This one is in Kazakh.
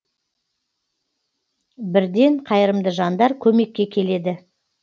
бірден қайырымды жандар көмекке келеді